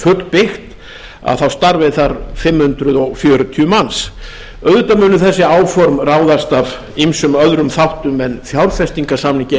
í fullbyggðu álveri starfi fimm hundruð fjörutíu manns þessi áform munu að sjálfsögðu ráðast af ýmsum öðrum þáttum en fjárfestingarsamningi